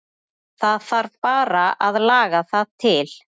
Það þarf bara að laga það til.